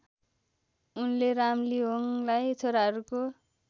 उनले रामलिहोङलाई छोराहरूको